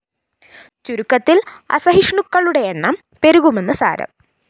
ചുരുക്കത്തില്‍ അസഹിഷ്ണുക്കളുടെ എണ്ണം പെരുകുമെന്ന് സാരം